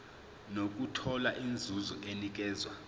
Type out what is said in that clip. nokuthola inzuzo enikezwa